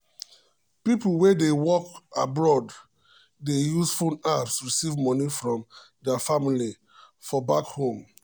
people wey dey work abroad dey use phone apps receive money from their family for back home.